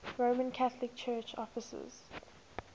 roman catholic church offices